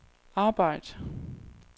arbejd